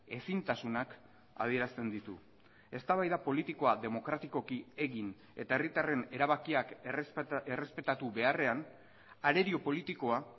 ezintasunak adierazten ditu eztabaida politikoa demokratikoki egin eta herritarren erabakiak errespetatu beharrean arerio politikoa